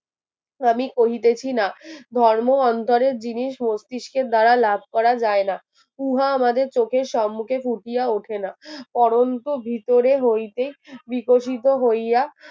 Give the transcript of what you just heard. আমি করিতেছিনা ধর্ম অন্তরের জিনিস মস্তিষ্কের দ্বারা লাভ করা যায় না উহা আমাদের চোখের সম্মুখে ফুটিয়া ওঠেনা আহ করন্তু ভিতরের হইতে বিকশিত হইয়া